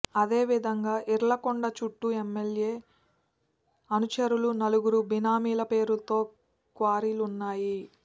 అదేవిధంగా ఈర్లకొండ చూట్టూ ఎమ్మెల్యే అనుచరులు నలుగురు బినామీల పేరులో క్వారీలున్నాయి